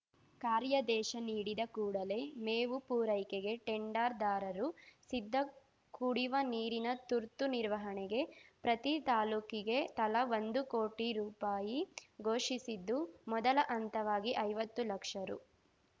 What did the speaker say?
ಕಾರ್ಯಾದೇಶ ನೀಡಿದ ಕೂಡಲೆ ಮೇವು ಪೂರೈಕೆಗೆ ಟೆಂಡರ್‌ದಾರರು ಸಿದ್ಧ ಕುಡಿವ ನೀರಿನ ತುರ್ತು ನಿರ್ವಹಣೆಗೆ ಪ್ರತಿ ತಾಲೂಕಿಗೆ ತಲಾ ಒಂದು ಕೋಟಿ ರು ಘೋಷಿಸಿದ್ದು ಮೊದಲ ಹಂತವಾಗಿ ಐವತ್ತು ಲಕ್ಷ ರು